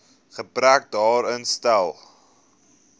gebrek daaraan stel